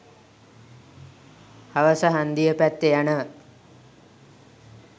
හවස හන්දිය පැත්තෙ යනවා